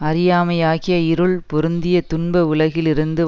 அறியாமையாகிய இருள் பொருந்திய துன்ப உலகில் இருந்து